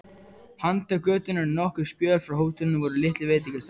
Handan götunnar og nokkurn spöl frá hótelinu voru litlir veitingastaðir.